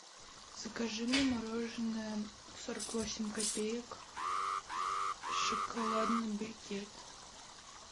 закажи мне мороженое сорок восемь копеек шоколадный брикет